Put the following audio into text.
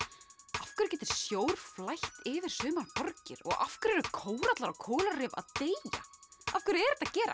af hverju getur sjór flætt yfir sumar borgir og af hverju eru kórallar og kóralrif að deyja af hverju er þetta að gerast